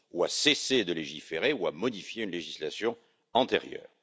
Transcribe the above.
à cesser de légiférer ou à modifier une législation antérieure.